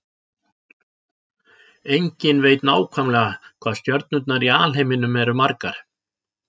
Enginn veit nákvæmlega hvað stjörnurnar í alheiminum eru margar.